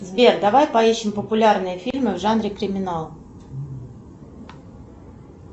сбер давай поищем популярные фильмы в жанре криминал